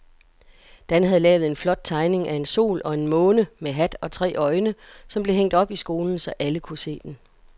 Dan havde lavet en flot tegning af en sol og en måne med hat og tre øjne, som blev hængt op i skolen, så alle kunne se den.